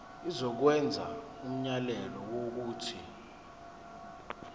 izokwenza umyalelo wokuthi